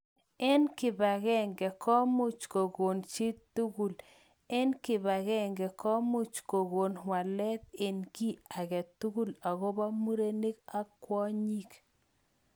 Eng kipakenge komuch kokon chitugul eng kibakenge komuch kokon walet eng ki age tugul akobo murenik ak kwonyik